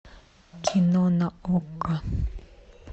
кино на окко